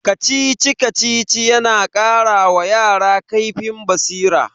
Kacici-Kacici yana kara wa yara kaifin basira.